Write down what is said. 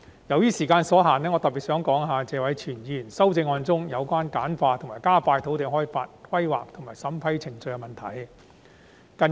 由於時間所限，我特別想談談謝偉銓議員的修正案中，有關簡化和加快土地開發、規劃及審批程序的建議。